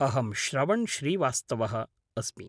अहं श्रवण् श्रीवास्तवः अस्मि।